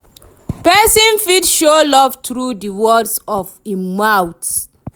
person fit show love through di words of I'm mouth